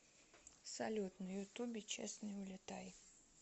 салют на ютубе честный улетай